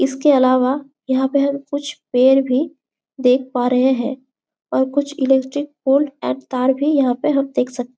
इसके अलावा यहाँ पे हम कुछ पेड़ भी देख पा रहे हैं और कुछ इलेक्ट्रिक पोल एंड तार भी यहाँ पे हम देख सकते--